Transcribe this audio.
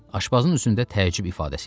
Aşpazın üzündə təəccüb ifadəsi yarandı.